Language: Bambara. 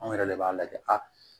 Anw yɛrɛ de b'a lajɛ a